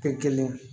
Kɛ kelen ye